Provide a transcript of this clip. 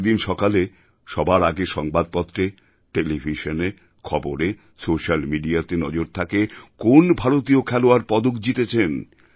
প্রতিদিন সকালে সবার আগে সংবাদপত্রে টেলিভিশনে খবরে সোশিয়াল Mediaতে নজর থাকে কোন ভারতীয় খেলোয়াড় পদক জিতেছেন